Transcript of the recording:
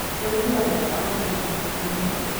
ũrĩithi wa bata urutaga matumbi maĩngi